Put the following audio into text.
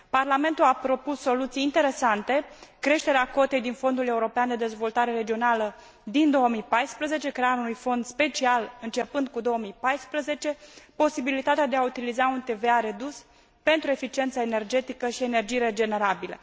Parlamentul a propus soluții interesante, creșterea cotei din Fondul European de Dezvoltare Regională din 2014, crearea unui fond special începând cu 2014, posibilitatea de a utiliza un TVA redus, pentru eficiență energetică și energii regenerabile.